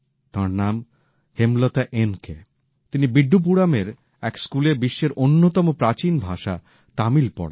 তাঁর নাম Hemlata N K তিনি বিডডুপুরমের এক স্কুলে বিশ্বের অন্যতম প্রাচীন ভাষা তামিল পড়ান